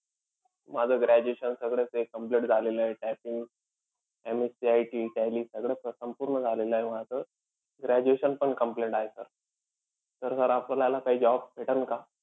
माझं graduation सगळं काही complete झालेलं आहे. Typing MSCIT tally सगळंच संपूर्ण झालेलं आहे माझं. Graduation पण complete आहे sir. तर sir आपल्याला काई job भेटन का?